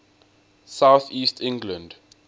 south east england